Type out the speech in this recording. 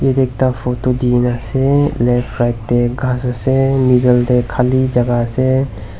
ekta photo dina ase left right teh ghas ase middle de khali jaga ase.